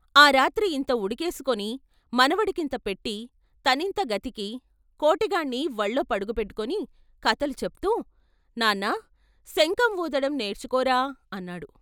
ఆ రాత్రి ఇంత ఉడకేసుకొని మనవడి కింత పెట్టి తనింత గతికి, కోటిగాణ్ణి వళ్ళో పడుకోబెట్టుకుని కథలు చెప్తూ నాన్నా, శంఖం వూదటం నేర్చుకోరా అన్నాడు.